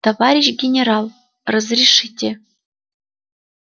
товарищ генерал разрешите